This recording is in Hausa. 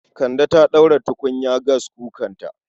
Kande ta ɗaura tukunya gaskukanta